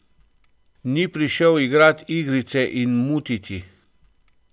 Ni prišel igrat igrice in mutiti.